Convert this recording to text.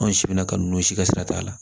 Anw si bɛna ka nun si ka sira t'a la